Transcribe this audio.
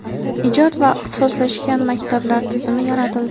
ijod va ixtisoslashgan maktablar tizimi yaratildi.